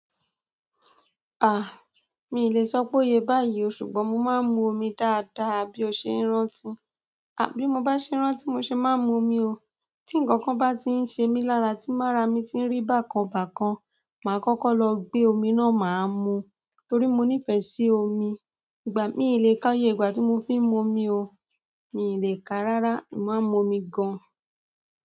Ah, mi le sọ pé ó yẹ báyìí o, ṣùgbọ́n mo máa ń mu omi dáadáa bí ọṣẹ ń rántí. A! Bi mo ba se rántí ni mo maa n mu omi o tí ǹkankan bá tiń ṣe mí lára tín mára mi ti ń rí bákan bákan, màá kọ́kọ́ lọ gbé omi náà màá mú torí mo nífẹ̀ẹ́ sí omi. Ìgbà, mí le ká iyé ìgbà tí mo fiń mu omi o, mi le ká rárá, mo màá ń mu omi gan-an.